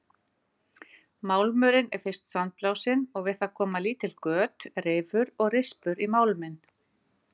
Málmurinn er fyrst sandblásinn og við það koma lítil göt, rifur og rispur í málminn.